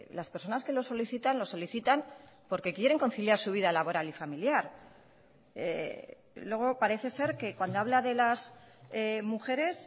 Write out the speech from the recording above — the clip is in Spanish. las personas que lo solicitan lo solicitan porque quieren conciliar su vida laboral y familiar luego parece ser que cuando habla de las mujeres